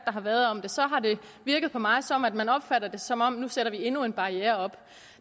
har været om det så har det virket på mig som om man opfatter det som om vi nu sætter endnu en barriere op